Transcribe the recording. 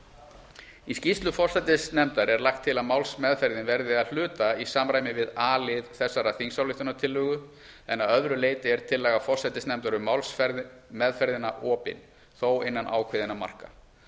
málsferð í skýrslu forsætisnefndar er lagt til að málsmeðferðin verði að hluta í samræmi við a lið þessarar þingsályktunartillögu en að öðru leyti er tillaga forsætisnefndar um málsmeðferðina opin þó innan ákveðinna marka